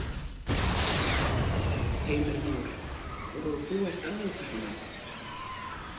Heimir Már: Og þú ert aðalpersónan?